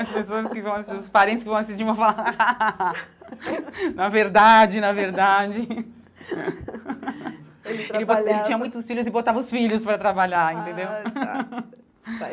As pessoas que vão assis, os parentes que vão assistir vão falar rá rá rá... Na verdade, na verdade... Ele trabalhava Ele tinha muitos filhos e botava os filhos para trabalhar, entendeu? AH tá